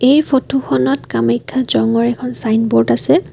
এই ফটো খনত কামাখ্যা জঙৰ এখন ছাইনবোৰ্ড আছে।